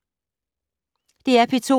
DR P2